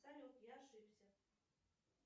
салют я ошибся